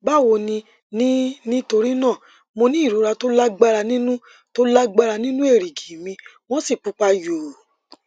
báwo ninítorí náà mo ní ìrora tó lágbára nínú tó lágbára nínú èrìgì mi wọn sì pupa yòò